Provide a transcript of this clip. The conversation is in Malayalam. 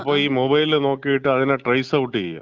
അപ്പം ഈ മൊബൈൽ നോക്കീട്ട് അതിനെ ട്രൈയ്സ് ഔട്ട് ചെയ്യാ.